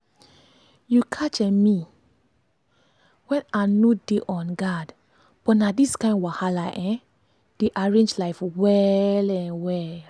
you catch um me when i no dey on guardbut na these kind wahala um dey arrange life well um well.